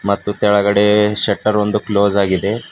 ಮತ್ತು ತೆಳಗಡೆ ಶೆಟ್ಟರ್ ಒಂದು ಕ್ಲೋಸ್ ಆಗಿದೆ.